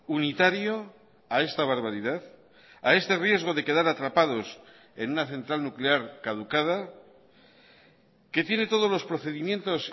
unitario a esta barbaridad a este riesgo de quedar atrapados en una central nuclear caducada que tiene todos los procedimientos